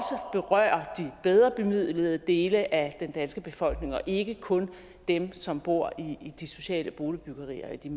berører de bedre bemidlede dele af den danske befolkning og ikke kun dem som bor i de sociale boligbyggerier i de